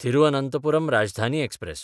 Thiruvananthapuram Rajdhani express